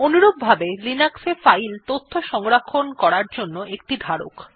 অনুরূপভাবে লিনাক্স এ ফাইল তথ্য সংরক্ষণ করার জন্য একটি ধারক